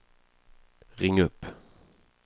ring upp